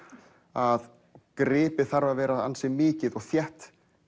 að gripið þarf að vera ansi mikið og þétt